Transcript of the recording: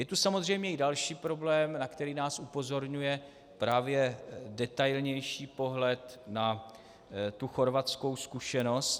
Je tu samozřejmě i další problém, na který nás upozorňuje právě detailnější pohled na tu chorvatskou zkušenost.